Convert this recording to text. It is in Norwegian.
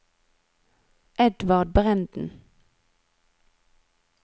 Edvard Brenden